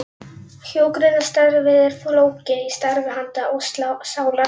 Hjúkrunarstarfið er fólgið í starfi handa og sálar.